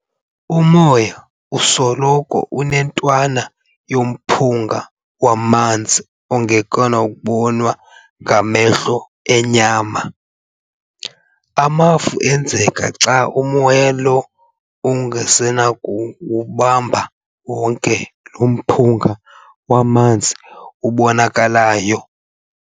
Umoya usoloko enentwana yomphunga wamanzi ongenakubonwa ngamehlo enyama. amafu enzeka xa umoya lo ungasenakuwubamba wonke lo mphunga wamanzi ubonakalayo.